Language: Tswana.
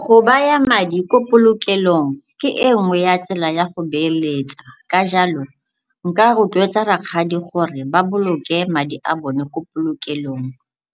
Go baya madi ko polokelong ke e nngwe ya tsela ya go beeletsa ka jalo nka rotloetsa rakgadi gore ba boloke madi a bone ko polokelong,